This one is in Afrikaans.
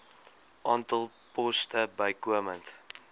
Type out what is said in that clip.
aantal poste bykomend